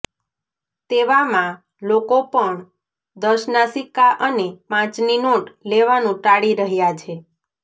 તેવામાં લોકો પણ દસના સિક્કા અને પાંચની નોટ લેવાનું ટાળી રહ્યા છે